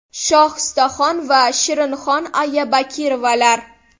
Shohistaxon va Shirinxon aya Bakirovalar.